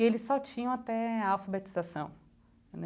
E eles só tinham até a alfabetização.